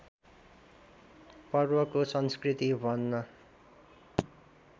पर्वको संस्कृति भन्न